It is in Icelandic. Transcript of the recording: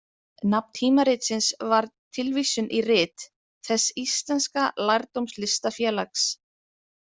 Nafn tímaritsins var tilvísun í Rit þess íslenska lærdómslistafélags.